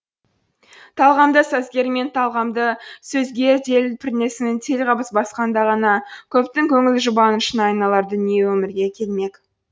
талғамды сазгер мен талғамды сөзгер діл пернесін телғабыс басқанда ғана көптің көңіл жұбанышына айналар дүние өмірге келмек